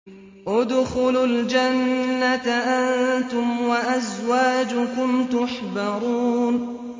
ادْخُلُوا الْجَنَّةَ أَنتُمْ وَأَزْوَاجُكُمْ تُحْبَرُونَ